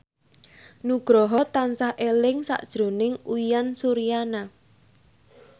Nugroho tansah eling sakjroning Uyan Suryana